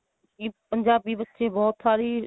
ਪੰਜਾਬੀ ਬੱਚੇ ਬਹੁਤ ਸਾਰੀ